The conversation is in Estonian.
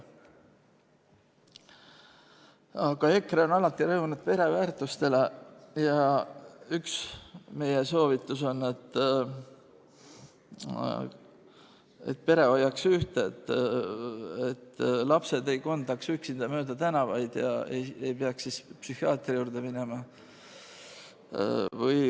Aga EKRE on alati rõhunud pereväärtustele ja üks meie soovitus on, et pere hoiaks ühte, et lapsed ei kondaks üksinda mööda tänavaid ja ei peaks siis psühhiaatri juurde minema.